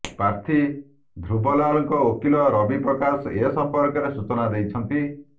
ପ୍ରାର୍ଥୀ ଧ୍ରୁବ ଲାଲଙ୍କ ଓକିଲ ରବି ପ୍ରକାଶ ଏସମ୍ପର୍କରେ ସୂଚନା ଦେଇଛନ୍ତି